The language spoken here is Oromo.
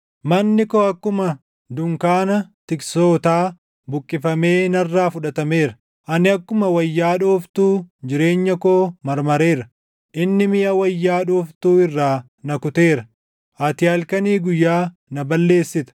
Manni koo akkuma dunkaana tiksootaa buqqifamee narraa fudhatameera. Ani akkuma wayyaa dhooftuu jireenya koo marmareera; inni miʼa wayyaa dhooftuu irraa na kuteera; ati halkanii guyyaa na balleessita.